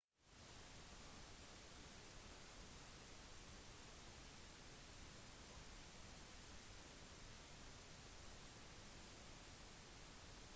antarktis er området som ligger rundt sydpolen og er det aller kaldeste området på jorden